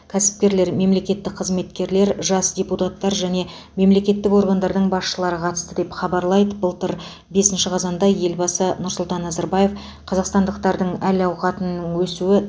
кәсіпкерлер мемлекеттік қызметкерлер жас депутаттар және мемлекеттік органдардың басшылары қатысты деп хабарлайды былтыр бесінші қазанда елбасы нұрсұлтан назарбаев қазақстандықтардың әл ауқатының өсуі табыс